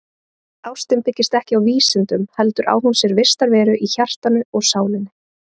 Ástin byggist ekki á vísindum heldur á hún sér vistarveru í hjartanu og sálinni.